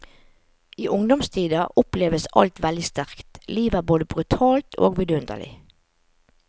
I ungdomstida oppleves alt veldig sterkt, livet er både brutalt og vidundelig.